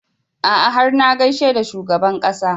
A'a har na gaishe da shugaban ƙasa